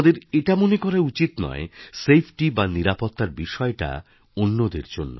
আমাদের এটা মনে করা উচিত নয় সেফটি বা নিরাপত্তা র বিষয়টা অন্যদের জন্য